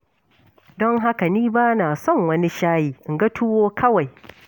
Don haka ni ba na son wani shayi, in ga tuwo kawai.